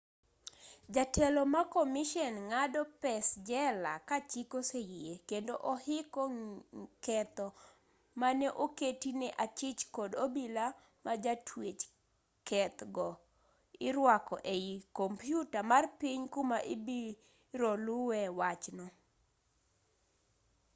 jatelo makomishen ng'ado pes-jela kachik oseyie kendo ohiko ketho maneoketi ne achich kod obila majatwech keth go iruako ei compyuta mar piny kuma ibirolue wachno